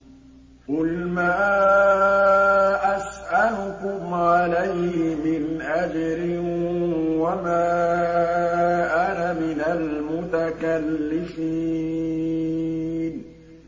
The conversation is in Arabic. قُلْ مَا أَسْأَلُكُمْ عَلَيْهِ مِنْ أَجْرٍ وَمَا أَنَا مِنَ الْمُتَكَلِّفِينَ